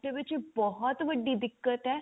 ਵਿੱਚ ਬਹੁਤ ਵੱਡੀ ਦਿਕਤ ਹੈ